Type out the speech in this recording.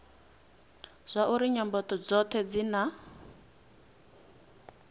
zwauri nyambo dzothe dzi na